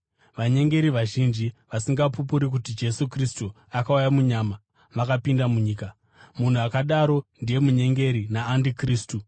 Vanyengeri vazhinji, vasingapupuri kuti Jesu Kristu akauya munyama, vakapinda munyika. Munhu akadaro ndiye munyengeri naandikristu.